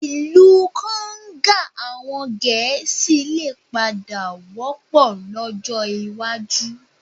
Ìlú konga àwọn Gẹ̀ẹ́sì lè padà wọ́pọ̀ lọ́jọ́ iwájú